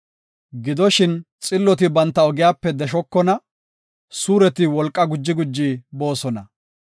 Gidoshin xilloti banta ogiyape deshokona; suureti wolqa guji guji boosona.